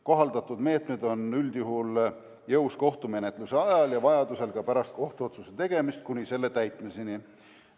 Kohaldatud meetmed on üldjuhul jõus kohtumenetluse ajal ja vajaduse korral ka pärast kohtuotsuse tegemist kuni selle täitmiseni.